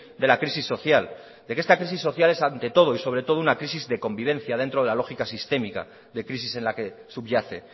de la crisis social de que esta crisis social es ante todo y sobre todo una crisis de convivencia dentro de la lógica sistémica de crisis en la que subyace